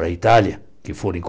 a Itália, que foram